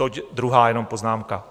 Toť druhá jenom poznámka.